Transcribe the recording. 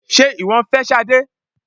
Sé ìwọ ń fẹ́ Sade?